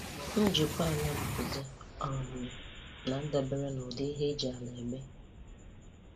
Njikwa ala mbuze um na-adabere n'ụdị ihe eji ala eme